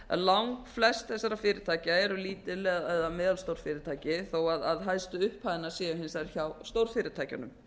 að lang flest þessara fyrirtækja eru lítil eða meðalstór fyrirtæki þó hæstu upphæðirnar séu hins vegar hjá stórfyrirtækjunum